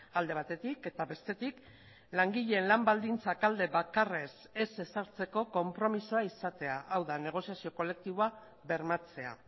alde batetik eta bestetik langileen lan baldintzak alde bakarrez ez ezartzeko konpromisoa izatea hau da negoziazio kolektiboa bermatzea